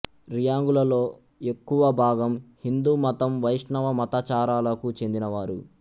రియాంగులలో ఎక్కువ భాగం హిందూ మతం వైష్ణవ మతాచారాలకు చెందినవారు